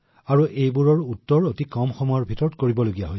যিটো কম সময়ৰ ভিতৰতে কৰিব সমাধা কৰিবলগীয়া হৈছিল